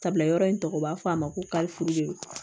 Tabila yɔrɔ in tɔgɔ ye u b'a fɔ a ma ko kalifu de